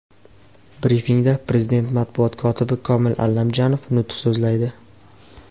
Brifingda Prezident matbuot kotibi Komil Allamjonov nutq so‘zlaydi.